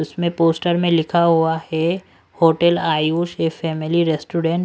इसमें पोस्टर में लिखा हुआ है होटल आयुष फैमिली रेस्टोरेंट --